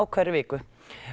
hverri viku